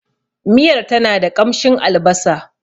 Miyar tana da ƙamshin albasa.